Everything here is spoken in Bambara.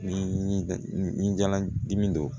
Ni jala dimi don